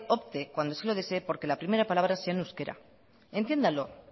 opte cuando así lo desee porque la primera palabra sea en euskera entiéndalo